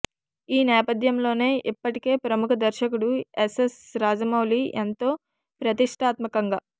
ఈ నేపథ్యంలోనే ఇప్పటికే ప్రముఖ దర్శకుడు ఎస్ఎస్ రాజమౌళి ఎంతో ప్రతిష్టాత్మకంగా